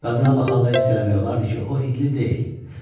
Qadına baxanda hiss eləmək olardı ki, o hindli deyil.